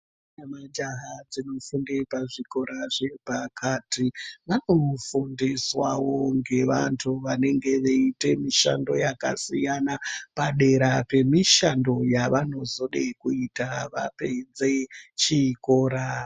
Ndombi nemajaha zvinofunda pazvikora zve pakati vanofundiswa ngevantu vanoita mishando yakasiyana padera pemishando yavonozode kuita vapedze chikora .